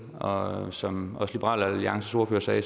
og som også liberal alliances ordfører sagde